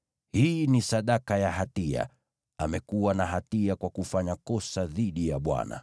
Hii ni sadaka ya hatia; amekuwa na hatia kwa kufanya kosa dhidi ya Bwana .”